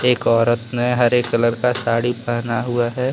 एक औरत ने हरे कलर का साड़ी पहना हुआ है।